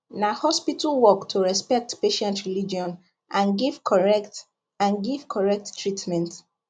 na hospital work to respect patient religion and give correct and give correct treatment